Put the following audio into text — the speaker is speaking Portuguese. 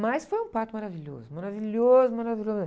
Mas foi um parto maravilhoso, maravilhoso, maravilhoso mesmo.